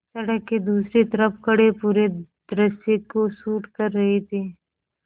सड़क के दूसरी तरफ़ खड़े पूरे दृश्य को शूट कर रहे थे